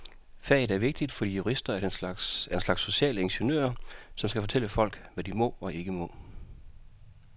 Faget er vigtigt, fordi jurister er en slags sociale ingeniører, som skal fortælle folk, hvad de må og ikke må.